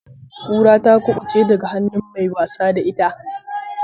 Kura ta kubuce daga hannun mai wasa da ita.